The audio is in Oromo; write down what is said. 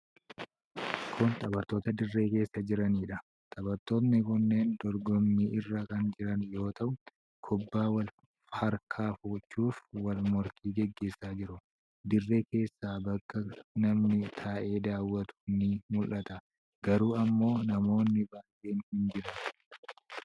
Kun taphattoota dirree keessa jiraniidha. Taphattoonni kunneen dorgommii irra kan jiran yoo ta'u, kubbaa wal harkaa fudhachuuf wal morkii gaggeessaa jiru. Dirree keessa bakka namni taa'ee daawwatu ni mul'ata. Garuu ammoo namoonni baay'een hin jiran.